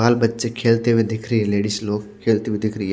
बाल बच्चे खेलते हुए दिख रहे है लेडिज लोग खेलते हुए दिख रही है।